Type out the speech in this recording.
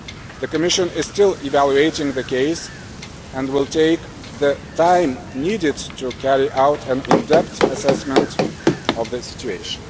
The Commission is still evaluating the case and will take the time needed to carry out an in depth assessment of the situation.